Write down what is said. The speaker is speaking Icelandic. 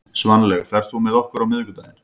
Sveinlaug, ferð þú með okkur á miðvikudaginn?